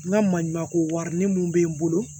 N ka maɲuman ko warini mun bɛ n bolo